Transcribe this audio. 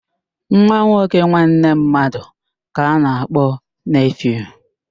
Nwa nwoke nwanne mmadụ ka a na-akpọ neefiu